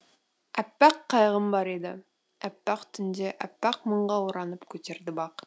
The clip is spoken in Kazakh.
әппақ қайғым бар еді әппақ түнде әппақ мұңға оранып көтерді бақ